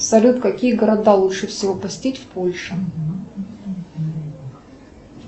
салют какие города лучше всего посетить в польше